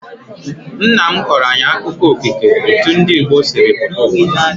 Nna m kọrọ anyị akụkọ okike etu ndị Igbo sịrị pụta uwa